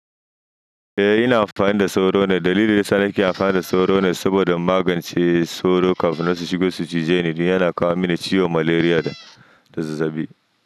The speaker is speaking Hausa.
Eh ina amfani da sauro net, dalilin sa ni ke amfani da sauro net saboda magance sauro kafin na shigo su cije ni, kuma yana kawo mini ciwon malaria da zazzabi.